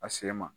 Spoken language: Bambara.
A sen ma